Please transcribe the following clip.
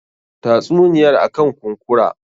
Tatsuniyar akan kunkura.